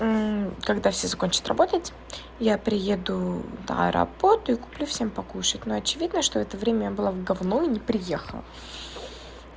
когда все закончат работать я приеду на работу и куплю всем покушать но очевидно что это время я была в говно и не приехала